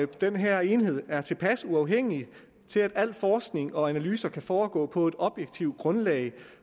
den her enhed er tilpas uafhængig til at al forskning og analyse kan foregå på et objektivt grundlag